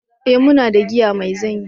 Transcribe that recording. eh muna da giya mai zanyi